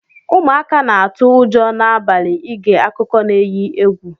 Ụmụaka na atụ ụjọ na abali ige akụkọ na eghi egwu.